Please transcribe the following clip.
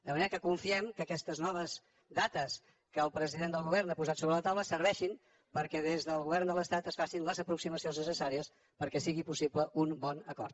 de manera que confiem que aquestes noves dates que el president del govern ha posat sobre la tau·la serveixin perquè des del govern de l’estat es facin les aproximacions necessàries perquè sigui possible un bon acord